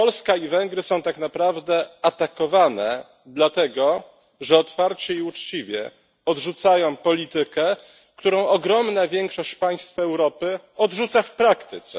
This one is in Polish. Polska i Węgry są tak naprawdę atakowane, dlatego że otwarcie i uczciwie odrzucają politykę, którą ogromna większość państw Europy odrzuca w praktyce.